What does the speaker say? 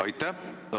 Aitäh!